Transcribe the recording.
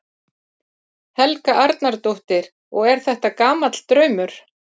Helga Arnardóttir: Og er þetta gamall draumur?